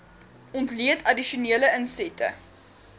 ontleed addisionele insette